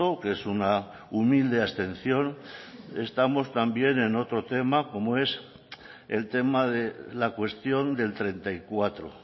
que es una humilde abstención estamos también en otro tema como es el tema de la cuestión del treinta y cuatro